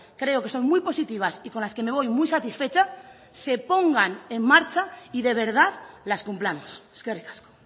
creo que son muy positivas y con las que me voy muy satisfecha se pongan en marcha y de verdad las cumplamos eskerrik asko